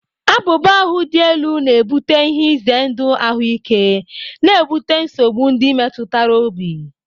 Abuba ahu dị elu na-ebute ihe ize ndụ ahụike, na-ebute nsogbu ndị metụtara obi.